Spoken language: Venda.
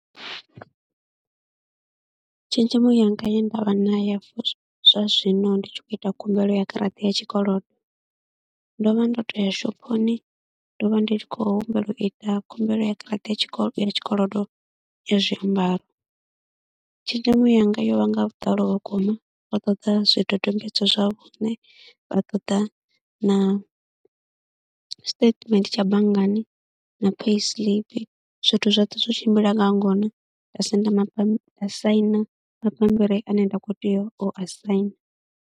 Tshenzhemo yanga ye nda vha na ya zwa zwino ndi tshi khou ita khumbelo ya garaṱa ya tshikolodo, ndo vha ndo to ya shophoni ndo vha ndi tshi khou humbela u ita khumbelo ya garaṱa ya tshikolo, ya tshikolodo ya zwiambaro. Tshenzhemo yanga yo vha nga vhuḓalo vhukuma vha ṱoḓa zwidodombedzwa zwa vhuṋe, vha ṱoḓa na statement tsha banngani na payisiiḽipi. Zwithu zwoṱhe zwo tshimbila nga ngona, nda senda, nda saina mabambiri ane nda khou tea u a saina.